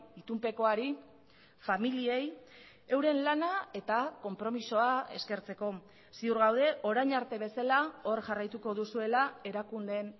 itunpekoari familiei euren lana eta konpromisoa eskertzeko ziur gaude orain arte bezala hor jarraituko duzuela erakundeen